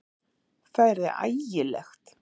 Það yrði ægilegt!